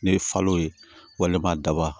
Ne ye falo ye walima daba